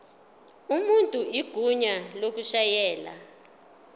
umuntu igunya lokushayela